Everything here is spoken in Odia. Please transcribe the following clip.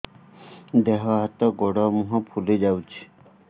ଦେହ ହାତ ଗୋଡୋ ମୁହଁ ଫୁଲି ଯାଉଛି